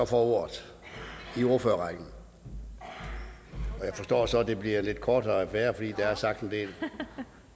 får ordet og jeg forstår så at det bliver en lidt kortere affære fordi der er sagt en del